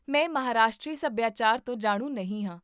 ਮੈਂ ਮਹਾਰਾਸ਼ਟਰੀ ਸਭਿਆਚਾਰ ਤੋਂ ਜਾਣੂ ਨਹੀਂ ਹਾਂ